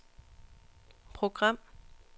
program